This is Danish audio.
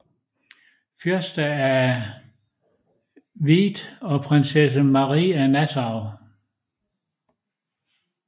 Fyrste af Wied og Prinsesse Marie af Nassau